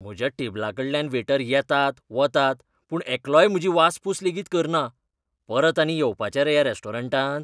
म्हज्या टेबलाकडल्यान वेटर येतात, वतात, पूण एकलोय म्हजी वासपूस लेगीत करना. परत आनी येवपाचें रे ह्या रॅस्टॉरंटांत?